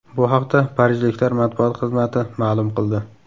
Bu haqda parijliklar matbuot xizmati ma’lum qildi .